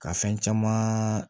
Ka fɛn caman